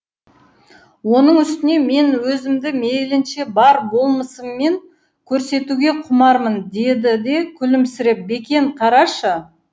оның үстіне мен өзімді мейлінше бар болмысыммен көрсетуге құмармын деді де күлімсіреп бекен қарашы